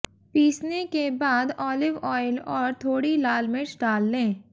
पीसने के बाद ऑलिव ऑयल और थोड़ी लाल मिर्च डाल लें